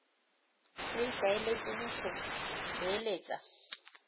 yo o ikaeletseng go beeletsa